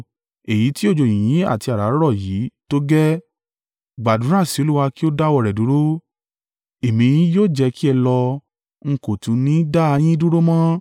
Èyí ti òjò yìnyín àti àrá rọ̀ yìí tó gẹ́ẹ́, gbàdúrà sí Olúwa kí ó dáwọ́ rẹ̀ dúró. Èmi yóò jẹ́ kí ẹ lọ, n kò tún ni dá a yín dúró mọ́.”